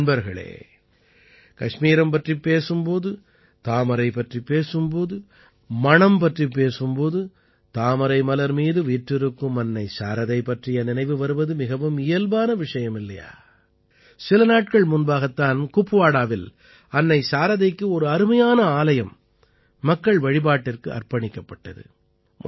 நண்பர்களே கஷ்மீரம் பற்றிப் பேசும் போது தாமரை பற்றிப் பேசும் போது மலர்களைப் பற்றிப் பேசினாலோ மணம் பற்றிப் பேசும் போது தாமரை மலர் மீது வீற்றிருக்கும் அன்னை சாரதை பற்றிய நினைவு வருவது மிகவும் இயல்பான விஷயம் இல்லையா சில நாட்கள் முன்பாகத் தான் குப்வாடாவில் அன்னை சாரதைக்கு ஒரு அருமையான ஆலயம் மக்கள் வழிபாட்டிற்கு அர்ப்பணிக்கப்பட்டது